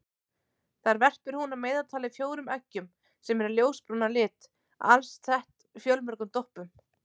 Þar verpir hún að meðaltali fjórum eggjum sem eru ljósbrún að lit alsett fjölmörgum doppum.